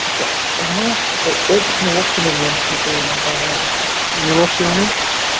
типа знаешь какой этот неловкий момент смотрели нам понравился неловкий момент